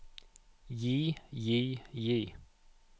gi gi gi